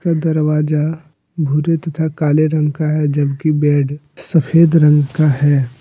दरवाजा भूरे तथा काले रंग का है जबकि बेड सफेद रंग का है।